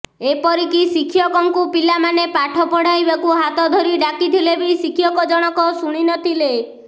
ଏପରିକି ଶିକ୍ଷକଙ୍କୁ ପିଲାମାନେ ପାଠ ପଢାଇବାକୁ ହାତ ଧରି ଡାକିଥିଲେ ବି ଶିକ୍ଷକ ଜଣକ ଶୁଣି ନ ଥିଲେ